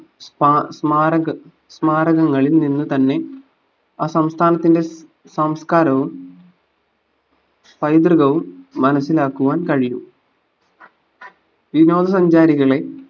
സ്മാ സ്മാരക സ്മാരകങ്ങളിൽ നിന്ന് തന്നെ ആ സംസ്ഥാനത്തിന്റെ സംസ്കാരവും പൈതൃകവും മനസിലാക്കുവാൻ കഴിയും വിനോദ സഞ്ചാരികളെ